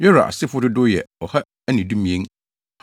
Yora asefo dodow yɛ 2 112 1